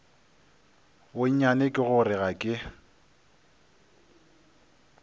bonnyane ke gore ga ke